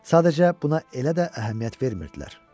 Sadəcə buna elə də əhəmiyyət vermirdilər.